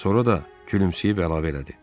Sonra da gülümsəyib əlavə elədi.